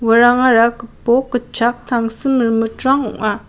uarangara gipok gitchak tangsim rimitrang ong·a.